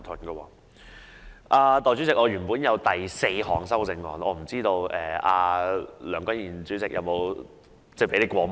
代理主席，我原本提出了第四項修訂議案，但我不知道梁君彥主席有否讓你過目。